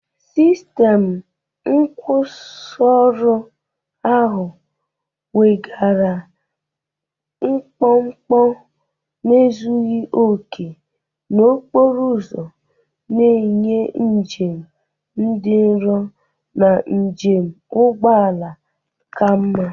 Sistemu nkwusioru ahụ weghaara mkpọmkpọ na ezughị okè n'okporo ụzọ, na-enye njem dị nro na njikwa ụgbọ ala ka mma.